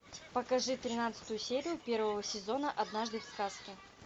покажи тринадцатую серию первого сезона однажды в сказке